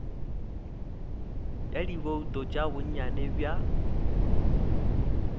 ya dibouto tša bonnyane bja